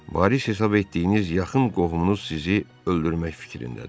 Varis hesab etdiyiniz yaxın qohumunuz sizi öldürmək fikrindədir.